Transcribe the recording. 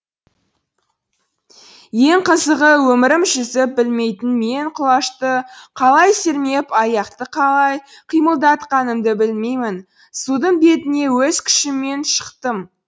ең қызығы өмірім жүзіп білмейтін мен құлашты қалай сермеп аяқты қалай қимылдатқанымды білмеймін судың бетіне өз күшіммен шықтым